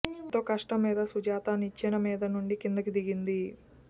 ఎంతో కష్టం మీద సుజాత నిచ్చెన మీదనుంచి కిందికి దిగింది